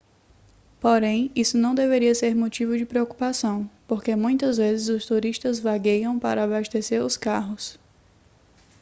porém isso não deveria ser motivo de preocupação porque muitas vezes os turistas vagueiam para abastecer os carros